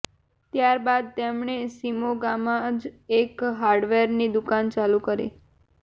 ત્યાર બાદ તેમણે શિમોગામાં જ એક હાર્ડવેરની દુકાન ચાલુ કરી